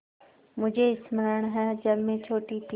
मुझे स्मरण है जब मैं छोटी थी